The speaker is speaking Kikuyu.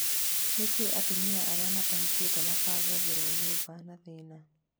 Nikĩĩ atumia arĩa matahikĩte mabangagĩrwo nyũmba na thĩna?